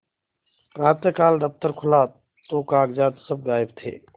प्रातःकाल दफ्तर खुला तो कागजात सब गायब थे